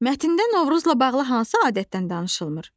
Mətndə Novruzla bağlı hansı adətdən danışılmır?